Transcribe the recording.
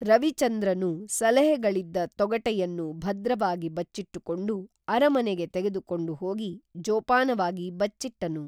ರವಿಚಂದ್ರನು ಸಲಹೆಗಳಿದ್ದ ತೊಗಟೆಯನ್ನು ಭದ್ರವಾಗಿ ಬಚ್ಚಿಟ್ಟುಕೊಂಡು ಅರಮನೆಗೆ ತೆಗೆದು ಕೊಂಡು ಹೋಗಿ ಜೋಪಾನವಾಗಿ ಬಚ್ಚಿಟ್ಟನು